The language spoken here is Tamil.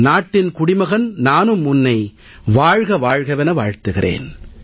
நாட்டின் குடிமகன் நானும் உன்னை வாழ்க வாழ்கவென வாழ்த்துகிறேன்